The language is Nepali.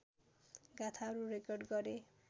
गाथाहरू रेकर्ड गरे